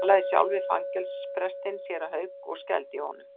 Ég talaði sjálf við fangelsisprestinn, séra Hauk, og skældi hjá honum.